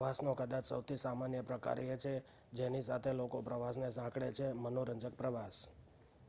પ્રવાસનો કદાચ સૌથી સામાન્ય પ્રકાર એ છે જેની સાથે લોકો પ્રવાસને સાંકળે છે મનોરંજક પ્રવાસ